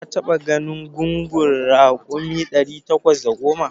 Ka taɓa ganin gungun raƙuma ɗari takwas da goma?